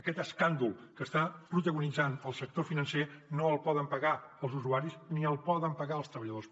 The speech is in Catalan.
aquest escàndol que està protagonitzant el sector financer no el poden pagar els usuaris ni el poden pagar els treballadors